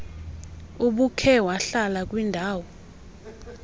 ubukhe wahlala kwindaw